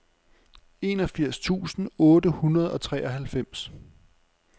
enogfirs tusind otte hundrede og treoghalvfems